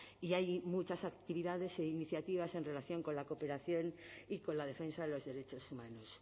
y hay muchas actividades e iniciativas en relación con la cooperación y con la defensa de los derechos humanos